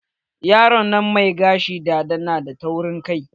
Yaron nan mai gashin dada na da taurin kai.